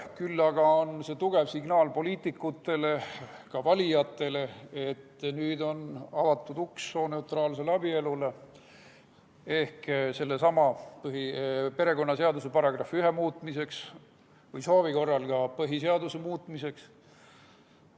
Küll aga on see tugev signaal poliitikutele, ka valijatele, et nüüd on avatud uks sooneutraalsele abielule ehk sellesama perekonnaseaduse § 1 muutmisele, soovi korral ka põhiseaduse muutmisele.